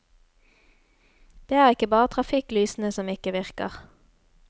Det er ikke bare trafikklysene som ikke virker.